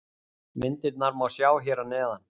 Myndirnar má sjá hér að neðan.